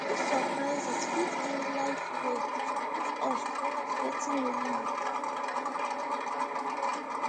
dis surprises fit be life way to push us towards wetin really matter